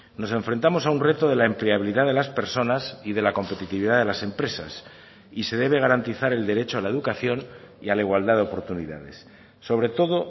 nos enfrentamos a un reto de la empleabilidad de las personas y de la competitividad de las empresas y se debe garantizar el derecho a la educación y a la igualdad de oportunidades sobre todo